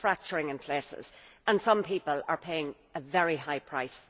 It is fracturing in places and some people are paying a very high price.